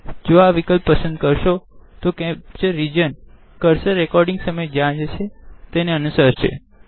જો આ વિકલ્પ પસંદ કરશો કેપ્ચર રીજન કર્સર રેકોડીંગ સમયે જ્યાં જશે તેને અનુસરસે